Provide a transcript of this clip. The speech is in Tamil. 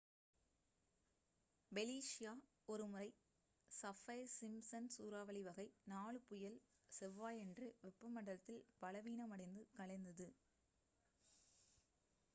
ஃபெலிஷியா ஒருமுறை சஃபைர்-சிம்ப்சன் சூறாவளி வகை 4 புயல் செவ்வாயன்று வெப்பமண்டலத்தில் பலவீனமடைந்து கலைந்தது